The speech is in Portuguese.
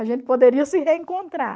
A gente poderia se reencontrar.